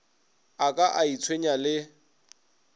a ka a itshwenya le